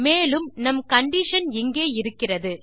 மேலும் நம் கண்டிஷன் இங்கே இருக்கிறது